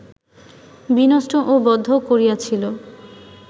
বিনষ্ট ও বদ্ধ করিয়াছিল